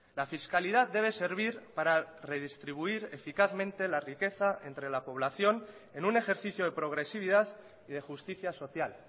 la fiscalidad debe servir para redistribuir eficazmente la riqueza entre la población en un ejercicio de progresividad y de justicia social